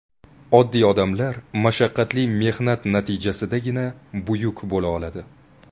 Oddiy odamlar mashaqqatli mehnat natijasidagina buyuk bo‘la oladi.